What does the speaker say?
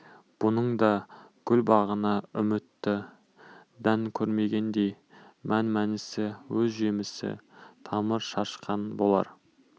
бұның да гүл бағына үмітті дән көмгендей мән-мәнісі өз жемісі тамыр шашқан болар